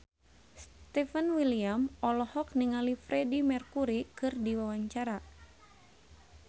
Stefan William olohok ningali Freedie Mercury keur diwawancara